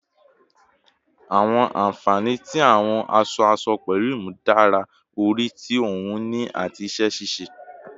Awọn anfani ti awọn aṣọ-aṣọ pẹlu imudara ori ti ohun ini ati iṣẹ-ṣiṣe